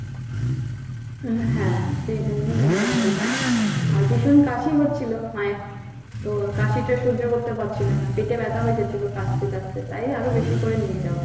আহ হ্যাঁ সেই জন্যই নিয়ে যাওয়া আরো বেশি। আর ভীষণ কাশি হচ্ছিল মায়ের তো কাশিটা সহ্য করতে পারছিল না, পেটে ব্যথা হয়ে যাচ্ছিল কাশতে কাশতে। তাই আরো বেশি করে নিয়ে যাওয়া।